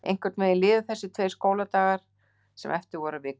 Einhvern veginn liðu þessir tveir skóladagar sem eftir voru af vikunni.